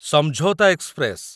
Samjhauta express